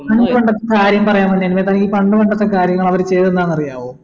പണ്ട് പണ്ടത്തെ കാര്യം പറയാൻ വന്നേല്ലേ തനിക്ക് പണ്ട് പണ്ടത്തെ കാര്യങ്ങൾ അവർ ചെയ്തെന്നാണറിയാവോ